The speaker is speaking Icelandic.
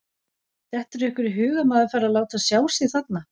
Dettur ykkur í hug að maður fari að láta sjá sig þarna?